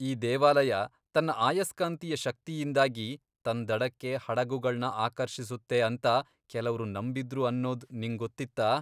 ಈ ದೇವಾಲಯ ತನ್ನ ಅಯಸ್ಕಾಂತೀಯ ಶಕ್ತಿಯಿಂದಾಗಿ ತನ್ ದಡಕ್ಕೆ ಹಡಗುಗಳ್ನ ಆಕರ್ಷಿಸುತ್ತೆ ಅಂತ ಕೆಲವ್ರು ನಂಬಿದ್ರು ಅನ್ನೋದ್ ನಿಂಗ್ ಗೊತ್ತಿತ್ತಾ?